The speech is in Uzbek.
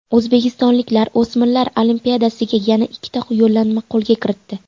O‘zbekistonliklar o‘smirlar Olimpiadasiga yana ikkita yo‘llanmani qo‘lga kiritdi.